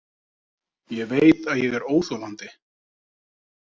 Ég veit að ég er óþolandi.